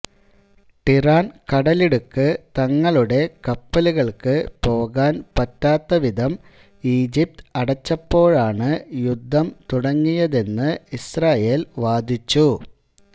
Tiran കടലിടുക്ക് തങ്ങളുടെ കപ്പലുകൾക്ക് പോകാൻ പറ്റാത്തവിധം ഈജിപ്ത് അടച്ചപ്പോഴാണ് യുദ്ധം തുടങ്ങിയതെന്ന് ഇസ്രയേൽ വാദിച്ചു